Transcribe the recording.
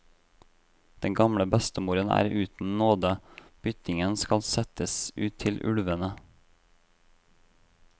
Den gamle bestemoren er uten nåde, byttingen skal settes ut til ulvene.